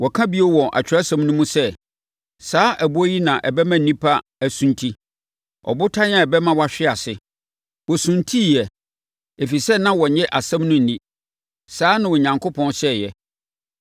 Wɔka bio wɔ Atwerɛsɛm no mu sɛ, “Saa ɛboɔ yi na ɛbɛma nnipa asunti; ɔbotan a ɛbɛma wɔahwe ase.” Wɔsuntiiɛ ɛfiri sɛ na wɔnnye asɛm no nni. Saa na Onyankopɔn hyɛeɛ.